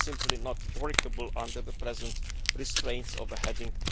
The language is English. This is simply not workable under the present restraints of Heading